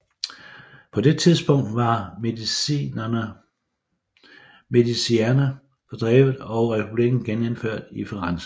På det tidspunkt var Medicierne fordrevet og republikken genindført i Firenze